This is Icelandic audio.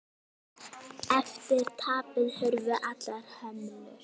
Eftir tapið hurfu allar hömlur.